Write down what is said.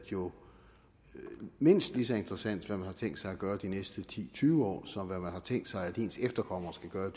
jo mindst lige så interessant hvad man har tænkt sig at gøre de næste ti tyve år som hvad man har tænkt sig at ens efterkommere skal gøre